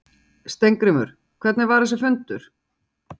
Heimir: Steingrímur, hvernig var þessi fundur?